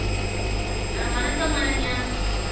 அஹ் வணக்கம் அனன்யா